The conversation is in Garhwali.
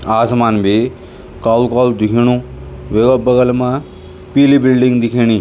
आसमान बी कालु-कालु दिखेंणु वेका बगल मा पीली बिल्डिंग दिखेणि।